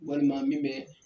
Walima min bɛ